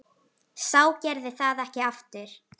Sá gerði það ekki aftur.